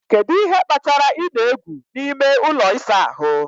Kedu ihe kpatara ị na-egwu n'ime ụlọ ịsa ahụ